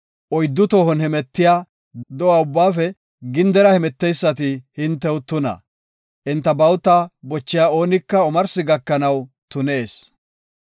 Oyddu tohotan hemetiya do7a ubbaafe gindera hemeteysati hintew tuna; enta bawuta bochiya oonika omarsi gakanaw tunees.